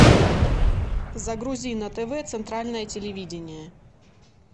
загрузи на тв центральное телевидение